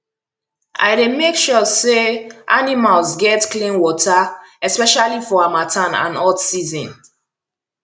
i dey make sure say animals get clean water especially for harmattan and hot season